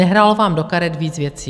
Nehrálo vám do karet víc věcí.